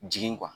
Jigin kuwa